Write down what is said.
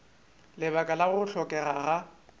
lebaka la go hlokega ga